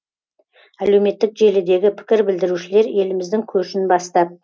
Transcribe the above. әлеуметтік желідегі пікір білдірушілер еліміздің көшін бастап